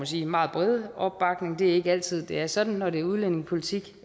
sige meget brede opbakning det er ikke altid det er sådan når det er udlændingepolitik